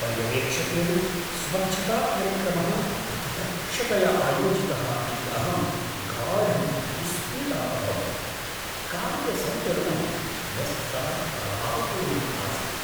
पर्यवेक्षकेण स्वच्छताकार्यक्रमः अतिदक्षतया आयोजितः इति अहं गाढं विस्मितः अभवम्, कार्यसन्तुलनं वस्तुतः प्रभावपूर्णम् आसीत्।